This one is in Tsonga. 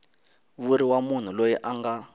vuriwa munhu loyi a nga